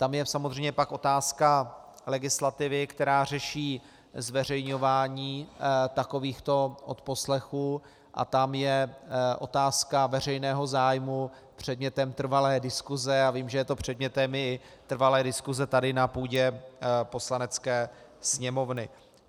Tam je samozřejmě pak otázka legislativy, která řeší zveřejňování takovýchto odposlechů, a tam je otázka veřejného zájmu předmětem trvalé diskuse a vím, že je to předmětem i trvalé diskuse tady na půdě Poslanecké sněmovny.